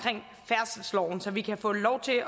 i færdselsloven så vi kan få lov til at